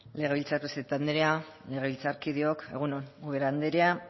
legebiltzar presidente andrea legebiltzarkideok egun on ubera anderea